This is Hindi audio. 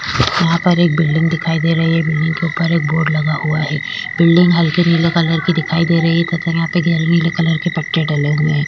यहाँ पर एक बिल्डिंग दिखाई दे रही है बिल्डिंग के उपर एक बोर्ड लगा हुआ है बिल्डिंग हलके नीले कलर की दिखाई दे रही है नीले कलर के पट्टे डले हुए है।